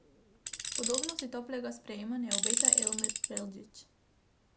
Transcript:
Podobno si toplega sprejema ne obeta Emir Preldžić.